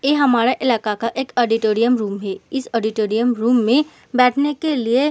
ए हमारा इलाका का एक ऑडोटोरियम रूम है। इस ऑडोटोरियम रूम में बैठने के लिए --